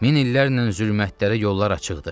Min illərlə zülmətlərə yollar açıqdı.